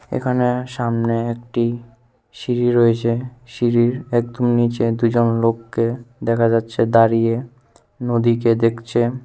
এখানে সামনে একটি সিঁড়ি রয়েছে সিঁড়ির একদম নিচে দুইজন লোককে দেখা যাচ্ছে দাঁড়িয়ে নদীকে দেখছে।